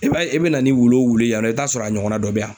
I b'a ye i bɛna ni wulu o wulu ye yan nɔ i taa sɔrɔ a ɲɔgɔnna dɔ bɛ yan.